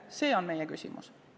See on meie küsimus.